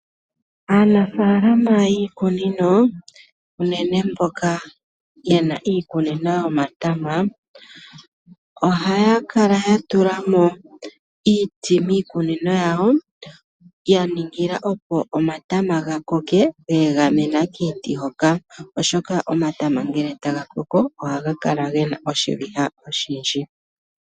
Aanafaalama yiikunino, unene mboka ye na iikunino yomatama ohaya kala ya tula mo iiti miikunino yawo. Ya ningila opo omatama ga koke ga egamena kiiti hoka, oshoka omatama ngele taga koko ohaga kala ge na oshiviha oshindji.